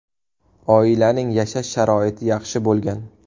Oilaning yashash sharoiti yaxshi bo‘lgan.